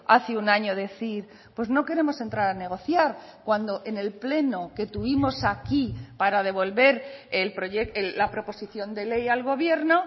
hace un año decir pues no queremos entrar a negociar cuando en el pleno que tuvimos aquí para devolver la proposicion de ley al gobierno